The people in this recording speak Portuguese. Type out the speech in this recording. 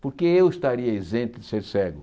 Por que eu estaria isento de ser cego?